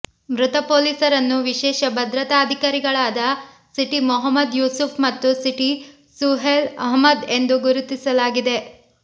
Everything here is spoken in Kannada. ಮೃತ ಪೊಲೀಸರನ್ನು ವಿಶೇಷ ಭದ್ರತಾ ಅಧಿಕಾರಿಗಳಾದ ಸಿಟಿ ಮೊಹಮ್ಮದ್ ಯೂಸುಫ್ ಮತ್ತು ಸಿಟಿ ಸುಹೇಲ್ ಅಹ್ಮದ್ ಎಂದು ಗುರುತಿಸಲಾಗಿದೆ